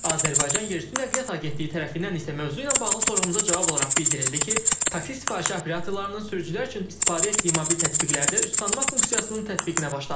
Azərbaycan Yerüstü Nəqliyyat Agentliyi tərəfindən isə mövzu ilə bağlı sorğumuza cavab olaraq bildirildi ki, taksi sifarişi operatorlarının sürücülər üçün istifadə etdiyi mobil tətbiqlərdə üz tanıma funksiyasının tətbiqinə başlanılıb.